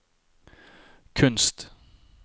kunst